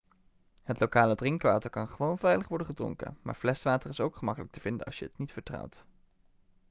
het lokale drinkwater kan gewoon veilig worden gedronken maar fleswater is ook gemakkelijk te vinden als je het niet vertrouwt